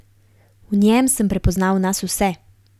V njem sem prepoznal nas vse.